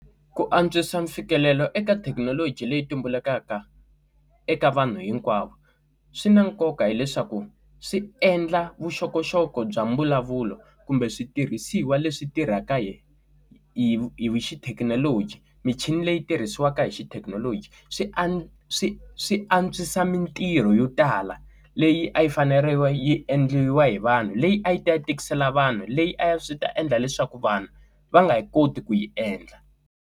Ku antswisa mfikelelo eka thekinoloji leyi tumbulukaka eka vanhu hinkwavo swi na nkoka hileswaku swi endla vuxokoxoko bya mbulavulo kumbe switirhisiwa leswi tirhaka yena hi hi xithekinoloji michini leyi tirhisiwaka hi xithekinoloji swi a swi swi antswisa mintirho yo tala leyi a yi fanerile yi endliwa hi vanhu leyi a yi ta yi tikisela vanhu leyi a swi ta endla leswaku vanhu va nge yi koti ku yi endla.